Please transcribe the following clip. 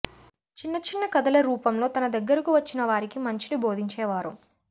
చిన్న చిన్న కథలరూపంలో తన దగ్గరకు వచ్చిన వారికి మంచిని బోధించేవారు